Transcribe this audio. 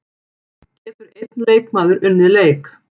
Getur einn leikmaður unnið leik?